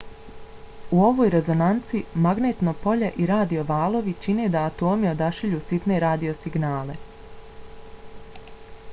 u ovoj rezonanci magnetno polje i radio valovi čine da atomi odašilju sitne radio signale